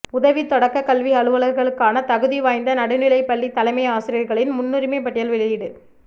உதவித் தொடக்கக் கல்வி அலுவலர்களுக்கான தகுதி வாய்ந்த நடுநிலைப் பள்ளி தலைமை ஆசிரியர்களின் முன்னுரிமைப் பட்டியல் வெளியிடு